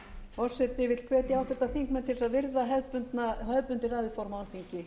forseti vill hvetja háttvirtir þingmenn til að virða hefðbundið ræðuform á alþingi